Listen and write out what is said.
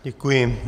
Děkuji.